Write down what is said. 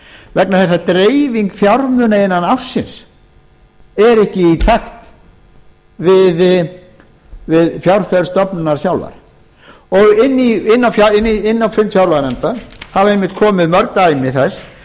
vegna þess að dreifing fjármuna innan ársins er ekki í takt við fjárþörf stofnunarinnar sjálfrar og inn á fund fjárlaganefndar hafa einmitt komið mörg dæmi þess